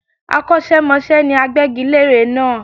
Akọ́ṣẹ́mọṣẹ́ ni agbégilére náà